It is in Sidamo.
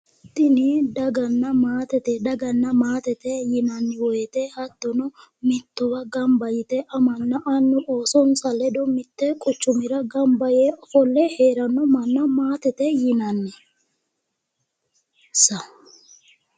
Tini daganna maatete. Daganna maatete yinanni woyite hattono mittowa gamba yite amanna annu oosonsa ledo mitte quchumira gamba yee ofolle heeranno manna maatete yinanni insa.